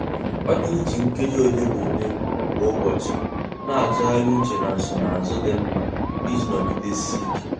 Ọ na-eji nkeji ole na ole kwa ụbọchị na-atụgharị uche na nsonazụ dị mma iji nọgidesike.